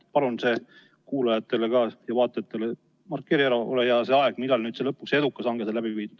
Palun, markeeri kuulajatele-vaatajatele, ole hea, see aeg, millal lõpuks edukas hange sai läbi viidud.